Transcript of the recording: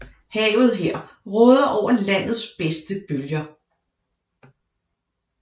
Havet her råder over landets bedste bølger